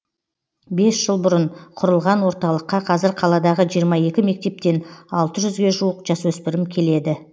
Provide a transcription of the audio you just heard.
бес жыл бұрын құрылған орталыққа қазір қаладағы жиырма екі мектептен алты жүзге жуық жасөпірім келеді